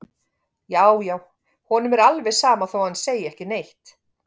Já, já, honum er alveg sama þó að hann segi ekki neitt!